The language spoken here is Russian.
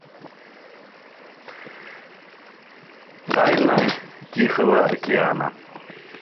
тайна тихого океана